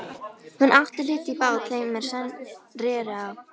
Hún átti hlut í bát þeim er Sveinn reri á.